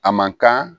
A man kan